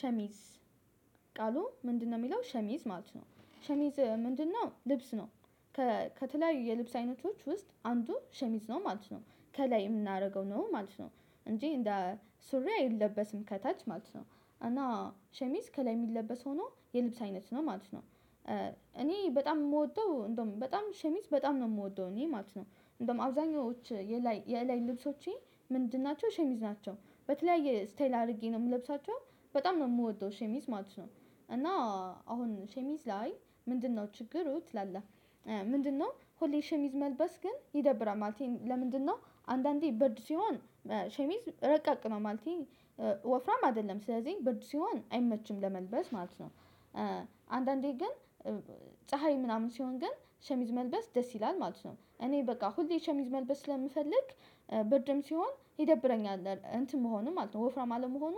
ሸሚዝ ቃሉ ምንድነው? የሚለው ሸሚዝ ማለት ነው። ሸሚዝ ምንድነው? ልብስ ነው። ከተለያዩ የልብስ አይነቶች ውስጥ አንዱ ሸሚዝ ነው ማለት ነው። ከላይ የምናደርገው ነው ማለት ነው እንጂ እንደ ሱሪ አይለበስም ከታች ማለት ነው። እና ሸሚዝ ከላይ የሚለበስ ሆኖ የልብስ አይነት ነው ማለት ነው። እኔ በጣም የምወደው እንደውም በጣም ሸሚዝ በጣም ነው የምወደው እኔ ማለት ነው። እንደውም አብዛኞቹ የላይ የላይ ልብሶቼ ምንድን ናቸው ሸሚዝ ናቸው። በተለያየ ስታይል አድርጌ ነው የምለብሳቸው በጣም ነው የምወደው ሸሚዝ ማለት ነው። እና አሁን ሸሚዝ ላይ ምንድነው ችግሩ ትላለህ? ምንድነው ሆሌ ሸሚዝ መልበስ ግን ይደብራል ማለቴ ለምንድነው? አንዳንዴ ብርድ ሲሆን ሸሚዝ ረቀቅ ነው ማለቴ። ወፍራም አይደለም ስለዚህ ብር ሲሆን አይመችም ለመልበስ ማለት ነው። አንዳንዴ ግን ፀሀይ ምናምን ሲሆን ግን ሸሚዝ መልበስ ደስ ይላል ማለት ነው። እኔ በቃ ሁሌ ሸሚዝ መልበስ ስለምፈልግ ብርድም ሲሆን ይደብረኛል እንትን መሆንም ማለት ነው ወፍራም አለመሆኑ።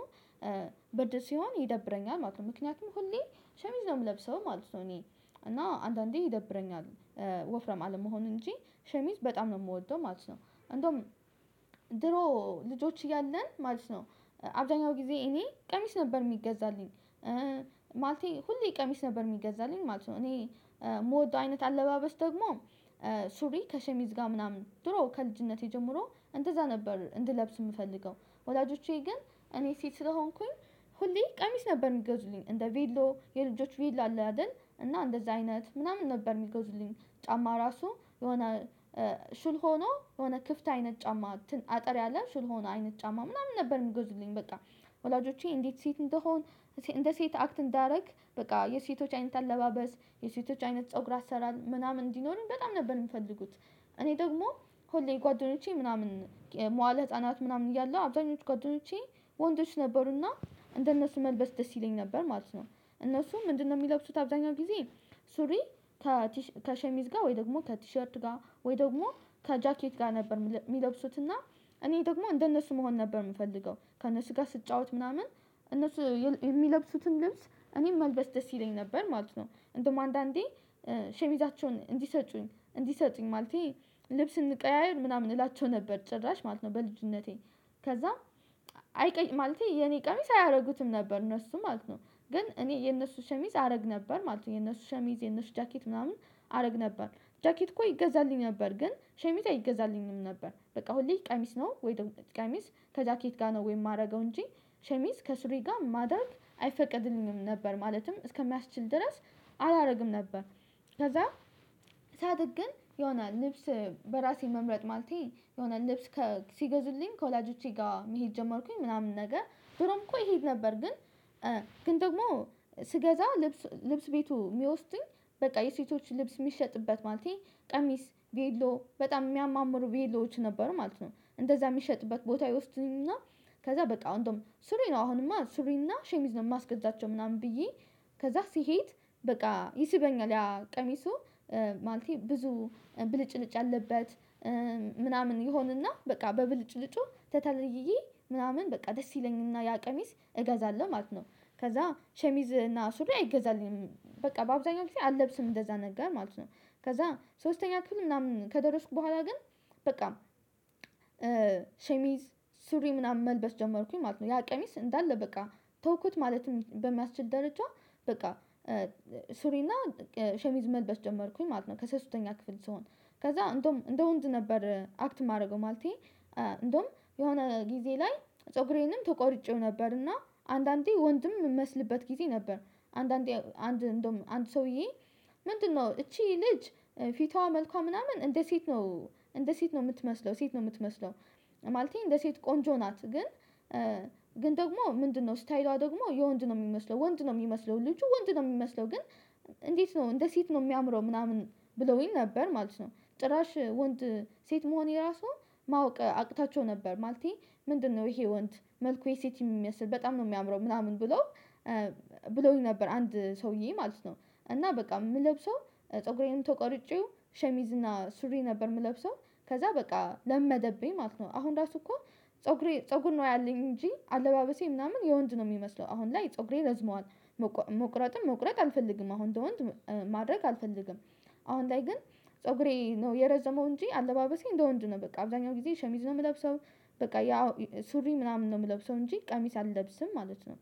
ብርድ ሲሆን ይደብረኛል ማለት ነው ምክንያቱም ሁሌ ሸሚዝ ነው የምለብሰው ማለት ነው እኔ እና አንዳንዴ ይደብረኛል። ወፍራም አለመሆን እንጂ ሸሚዝ በጣም ነው የምወደው ማለት ነው። እንደውም ድሮ ልጆች እያለን ማለት ነው አብዛኛው ጊዜ እኔ ቀሚስ ነበር የሚገዛልኝ። ማለቴ ሁሌ ቀሚስ ነበር የሚገዛልኝ ማለት ነው። እኔ የምወደው አይነት አለባበስ ደግሞ። ሱሪ ከሸሚዝ ጋር ምናምን ድሮ ከልጅነቴ ጀምሮ እንደዛ ነበር እንድለብስ የምፈልገው። ወላጆቼ ግን እኔ ሴት ስለሆንኩኝ። ሁሌ ቀሚስ ነበር የሚገዙልኝ እንደ ቪሎ የልጆች ቬሎ አለ አይደል እና እንደዛ አይነት ምናምን ነበር የሚገዙልኝ ጫማ ራሱ የሆነ። ሹል ሆኖ የሆነ ክፍት አይነት ጫማ አጠር ያለ ሹል ሆኖ አይነት ጫማ ምናምን ነበር የሚጎዝልኝ በቃ። ወላጆቼ እንዴት ሴት እንደሆን። እንደ ሴት አክት እንዳደረግ በቃ የሴቶች አይነት አለባበስ። የሴቶች አይነት ፀጉር አሰራር ምናምን እንዲኖረን በጣም ነበር የምፈልጉት። እኔ ደግሞ ሁሌ ጓደኞቼ ምናምን። መዋለ ህፃናት ምናምን እያለሁ አብዛኞቹ ጓደኞቼ ወንዶች ነበሩና እንደነሱ መልበስ ደስ ይለኝ ነበር ማለት ነው። እነሱ ምንድነው የሚለብሱት? አብዛኛው ጊዜ ሱሪ። ከሸሚዝ ጋር ወይ ደግሞ ከቲሸርት ጋር ወይ ደግሞ ከጃኬት ጋር ነበር የሚለብሱት። እና እኔ ደግሞ እንደነሱ መሆን ነበር የምፈልገው ከነሱ ጋር ስጫወት ምናምን እነሱ የሚለብሱትን ልብስ እኔም መልበስ ደስ ይለኝ ነበር ማለት ነው። እንደውም አንዳንዴ ሸሚዛቸውን እንዲሰጡኝ እንዲሰጡኝ ማለቴ። ልብስ እንቀያየር ምናምን እላቸው ነበር ጭራሽ ማለት ነው በልጅነቴ። ከዛም አይቀይ ማለቴ የኔ ቀሚስ አያደርጉትም ነበር እነሱም ማለት ነው። ግን እኔ የነሱ ሸሚዝ አደረግ ነበር ማለት ነው። የነሱ ሸሚዝ የነሱ ጃኬት ምናምን አደረግ ነበር። ጃኬት እኮ ይገዛልኝ ነበር ግን ሸሚታ ይገዛልኝም ነበር። በቃ ሁሌ ቀሚስ ነው ወይ ቀሚስ ከጃኬት ጋር ነው ወይ የማደርገው እንጂ ሸሚዝ ከሱሪ ጋር ማደርግ አይፈቀድልኝም ነበር። ማለትም እስከሚያስችል ድረስ አላደርግም ነበር። ከዛ ሳድግ ግን የሆነ ልብስ በራሴ መምረጥ ማለቴ የሆነ ልብስ ሲገዙልኝ ከወላጆቼ ጋር መሄድ ጀመርኩኝ ምናምን ነገር ድሮም እኮ ይሄድ ነበር ግን። ግን ደግሞ ስገዛ ልብስ ልብስ ቤቱ የሚወስዱኝ በቃ የሴቶች ልብስ የሚሸጥበት ማለቴ። ቀሚስ ቬሎ በጣም የሚያማምሩ ቬሎዎች ነበሩ ማለት ነው። እንደዛ የሚሸጥበት ቦታ ይወስዱኝና። ከዛ በቃ አሁን ሱሪን ነው አሁንማ ሱሪና ሸሚዝ ነው የማስገዛቸው ምናምን ብዬ። ከዛ ሲሄድ በቃ ይስበኛል ያ ቀሚሱ ማለቴ ብዙ ብልጭልጭ አለበት። ምናምን ይሆንና በቃ በብልጭልጩ ተተልልይዬ ምናምን በቃ ደስ ይለኛልና ያ ቀሚስ እገዛለሁ ማለት ነው። ከዛ ሸሚዝ እና ሱሪ አይገዛልኝም በቃ በአብዛኛው ጊዜ አልለብስም እንደዛ ነገር ማለት ነው። ከዛ ሶስተኛ ክፍል ምናምን ከደረስኩ በኋላ ግን። በቃ ሸሚዝ ሱሪ ምናምን መልበስ ጀመርኩኝ ማለት ነው። ያ ቀሚስ እንዳለ በቃ ተውኩት ማለትም በማስችል ደረጃ። በቃ ሱሪና ሸሚዝ መልበስ ጀመርኩኝ ማለት ነው። ከሶስተኛ ክፍል ስሆን። ከዛ እንደው እንደ ወንድ ነበር አክት የማደርገው ማለቴ። እንደውም የሆነ ጊዜ ላይ ፀጉሬንም ተቆርጬው ነበር እና አንዳንዴ ወንድም የምመስልበት ጊዜ ነበር። አንዳንዴ አንድ እንደውም አንድ ሰውዬ ምንድነው? እቺ ልጅ ፊቷ መልኳ ምናምን እንደ ሴት ነው እንደ ሴት ነው የምትመስለው ሴት ነው የምትመስለው። ማለቴ እንደ ሴት ቆንጆ ናት ግን። ግን ደግሞ ምንድነው? ስታይሏ ደግሞ የወንድ ነው የሚመስለው ወንድ ነው የሚመስለው ልጁ ወንድ ነው የሚመስለው ግን። እንዴት? ነው እንደ ሴት ነው የሚያምረው ምናምን ብለውኝ ነበር ማለት ነው። ጥራሽ ወንድ ሴት መሆን የራሱ ማወቅ አቅታቸው ነበር ማለቴ። ምንድነው? ይሄ ወንድ መልኩ የሴት የሚመስል በጣም ነው የሚያምረው ምናምን ብሎ። ብለውኝ ነበር አንድ ሰውዬ ማለት ነው። እና በቃ የምንለብሰው ፀጉሬንም ተቆርጬው ሸሚዝና ሱሪ ነበር የምለብሰው። ከዛ በቃ ለመደብኝ ማለት ነው። አሁን ራሱ እኮ ፀጉሬ ፀጉር ነው ያለኝ እንጂ አለባበሴ ምናምን የወንድ ነው የሚመስለው አሁን ላይ ፀጉሬ ለዝመዋል። መቁረጥም መቁረጥ አንፈልግም አሁን እንደወንድ ማድረግ አልፈልግም። አሁን ላይ ግን። ፀጉሬ ነው የረዘመው እንጂ አለባበሴ እንደ ወንድ ነው በቃ አብዛኛው ጊዜ ሸሚዝ ነው የምለብሰው። በቃ ያው ሱሪ ምናምን ነው የምለብሰው እንጂ ቀሚስ አልለብስም ማለት ነው